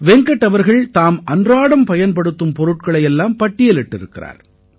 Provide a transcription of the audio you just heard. வெங்கட் அவர்கள் தாம் அன்றாடம் பயன்படுத்தும் பொருட்களை எல்லாம் பட்டியலிட்டிருக்கிறார்